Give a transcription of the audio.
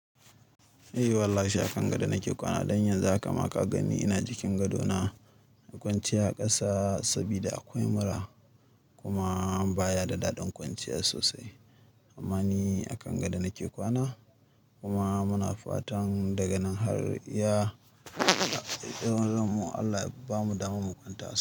Eh wallahi a kan gado nake kwana. Don yanzu haka ma ka gani ina jikin gadona. Na kwanciya a ƙasa saboda akwai mura kuma baya da daɗin kwanciya sosai. Amma ni a kan gado nake kwana kuma muna fatan daga nan har ya Allah ya ba mu daman mu kwanta as.